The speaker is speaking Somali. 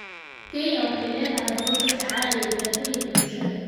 Kenya waxay leedahay habab la tacaalaya dhibaatooyinka bulshada.